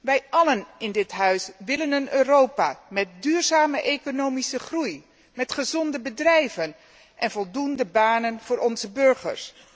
Wij allen in dit Huis willen een Europa met duurzame economische groei, met gezonde bedrijven en voldoende banen voor onze burgers.